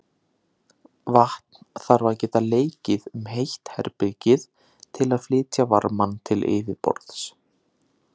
Vatn þarf að geta leikið um heitt bergið til að flytja varmann til yfirborðs.